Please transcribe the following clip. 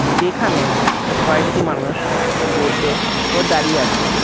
যেখানে কয়েকটি মানুষ বসে ও দাঁড়িয়ে আছে।